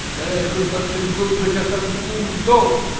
Gərək xırda çınqıl tökəsən, qum yox.